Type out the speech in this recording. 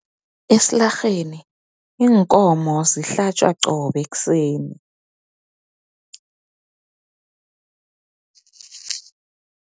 Esilarheni, iinkomo zihlatjwa qobe ekuseni.